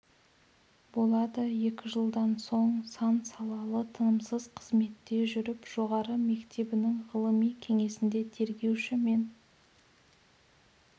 болады екі жылдан соң сан салалы тынымсыз қызметте жүріп жоғары мектебінің ғылыми кеңесінде тергеуші мен